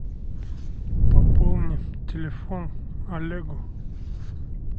пополнить телефон олегу